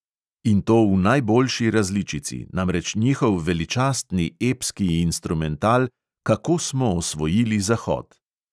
In to v najboljši različici, namreč njihov veličastni epski instrumental "kako smo osvojili zahod".